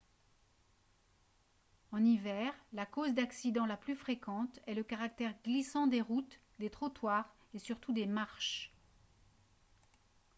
en hiver la cause d'accidents la plus fréquente est le caractère glissant des routes des trottoirs et surtout des marches